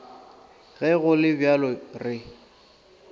ge go le bjalo re